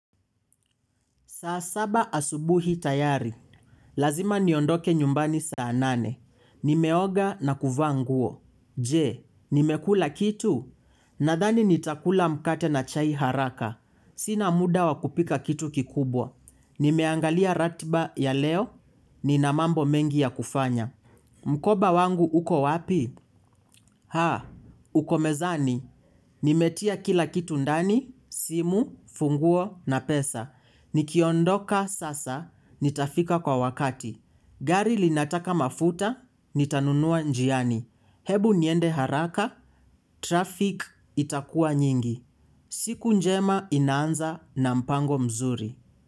Saa saba asubuhi tayari. Lazima niondoke nyumbani saa nane. Nimeoga na kuvaa nguo. Je, nimekula kitu? Nadhani nitakula mkate na chai haraka. Sina muda wakupika kitu kikubwa. Nimeangalia ratiba ya leo. Nina mambo mengi ya kufanya. Mkoba wangu uko wapi? Uko mezani, nimetia kila kitu ndani, simu, funguo na pesa. Nikiondoka sasa, nitafika kwa wakati. Gari linataka mafuta, nitanunua njiani. Hebu niende haraka, traffic itakua nyingi. Siku njema inaanza na mpango mzuri.